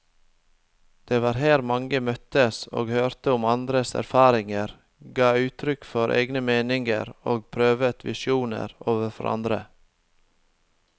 Det var her man møttes og hørte om andres erfaringer, ga uttrykk for egne meninger og prøvet visjoner overfor andre.